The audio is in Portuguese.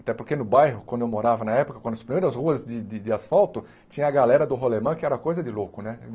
Até porque no bairro, quando eu morava na época, quando as primeiras ruas de de de asfalto, tinha a galera do rolemã que era coisa de louco, né?